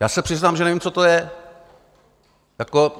Já se přiznám, že nevím, co to je.